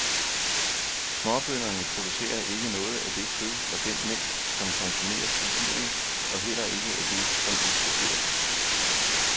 Småbønderne producerer ikke noget af det kød og den mælk, som konsumeres i byerne og heller ikke af det som eksporteres.